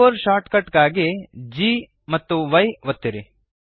keyboard shortcut ಗಾಗಿ ಗಾಂಪಿ ಒತ್ತಿರಿ